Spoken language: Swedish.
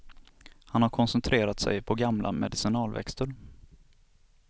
Han har koncentrerat sig på gamla medicinalväxter.